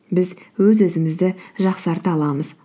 біз өз өзімізді жақсарта аламыз